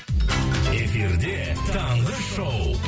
эфирде таңғы шоу